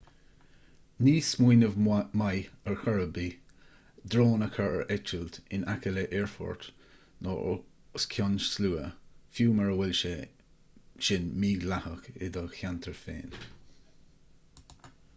ní smaoineamh maith ar chor ar bith é drón a chur ar eitilt in aice le haerfort nó os cionn slua fiú mura bhfuil sé sin mídhleathach i do cheantar féin